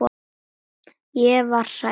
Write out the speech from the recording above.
Missir hennar er mikill.